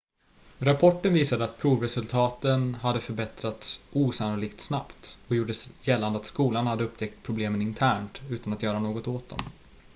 rapporten visade att provresultaten hade förbättrats osannolikt snabbt och gjorde gällande att skolan hade upptäckt problem internt utan att göra något åt dem